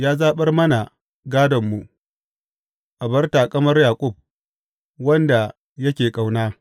Ya zaɓar mana gādonmu, abar taƙamar Yaƙub, wanda yake ƙauna.